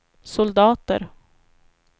soldater